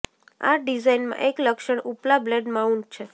આ ડિઝાઇનમાં એક લક્ષણ ઉપલા બ્લેડ માઉન્ટ છે